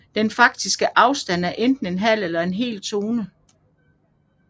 Den faktiske afstand er enten en halv eller en hel tone